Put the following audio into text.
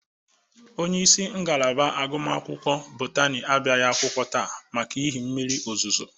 Onyeisi ngalaba agụmakwụkwọ Botani abịaghị akwụkwọ taata maka ihi mmiri ozuzo.